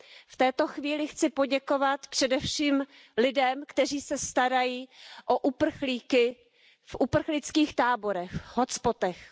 V této chvíli chci poděkovat především lidem, kteří se starají o uprchlíky v uprchlických táborech, v hotspotech.